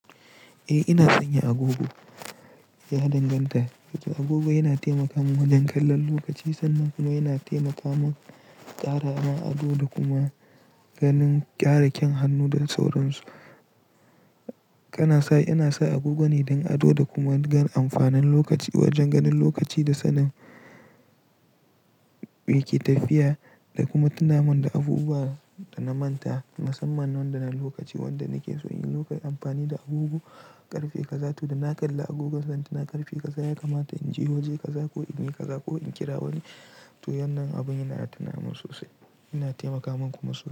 Eh ina sanya agogo ya danganta, agogo yana taimaka mun wajen kallon lokaci sannan kuma yana taimaka mun ƙara man ado da kuma ganin ƙaraƙyen hannu da sauransu. Kana sai ina sai agogo ne don ado da kuma ganin amfanin lokaci wajen ganin lokaci da sanin me ke tafiya da kuma tunamin da abubuwa da na manta musamman wanda na lokaci wanda nake so in lokaci amfani da agogo ƙarfe kaza tu da na kalla agogon zan tuna ƙarfe kaza ya kamata in je waje kaza ko in yi kaza ko in kira wani to yannan abun yana tunamo sosai yana taimaka mun kuma sosai.